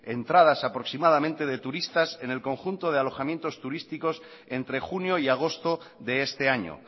entradas aproximadamente de turistas en el conjunto de alojamientos turísticos entre junio y agosto de este año